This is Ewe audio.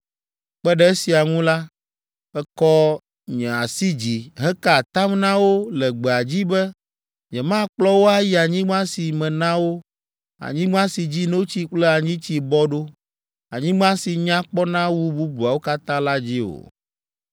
Kpe ɖe esia ŋu la, mekɔ nye asi dzi heka atam na wo le gbea dzi be nyemakplɔ wo ayi anyigba si mena wo, anyigba si dzi notsi kple anyitsi bɔ ɖo, anyigba si nya kpɔna wu bubuawo katã la dzi o;